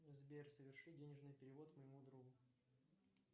сбер соверши денежный перевод моему другу